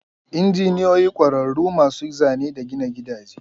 Injiniyoyi ƙwararru masu Zane da gina gidaje.